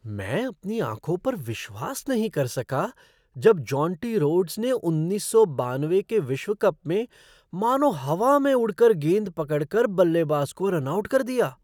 मैं अपनी आँखों पर विश्वास नहीं कर सका जब जोंटी रोड्स ने उन्नीस सौ बानवे के विश्व कप में मानो हवा में उड़ कर गेंद पकड़ कर बल्लेबाज को रन आउट कर दिया।